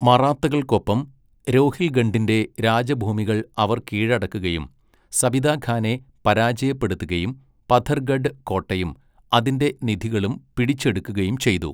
മറാത്തകൾക്കൊപ്പം രോഹിൽഖണ്ഡിന്റെ രാജഭൂമികൾ അവർ കീഴടക്കുകയും സബിത ഖാനെ പരാജയപ്പെടുത്തുകയും പഥർഗഡ് കോട്ടയും അതിന്റെ നിധികളും പിടിച്ചെടുക്കുകയും ചെയ്തു.